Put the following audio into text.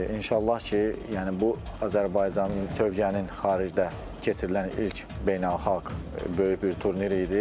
İnşallah ki, yəni bu Azərbaycanın Çövkənin xaricdə keçirilən ilk beynəlxalq böyük bir turnir idi.